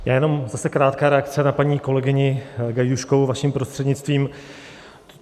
Já jenom zase krátká reakce na paní kolegyni Gajdůškovou, vaším prostřednictvím.